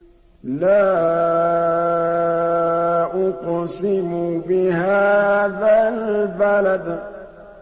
لَا أُقْسِمُ بِهَٰذَا الْبَلَدِ